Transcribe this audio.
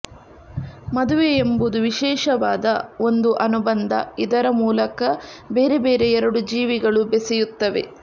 ಮದುವೆ ಎಂಬುದು ವಿಶೇಷವಾದ ಒಂದು ಅನುಬಂಧ ಇದರ ಮೂಲಕ ಬೇರೆ ಬೇರೆ ಎರಡು ಜೀವಗಳು ಬೆಸೆಯುತ್ತವೆ